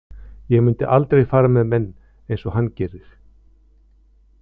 Ég myndi aldrei fara með menn eins og hann gerir.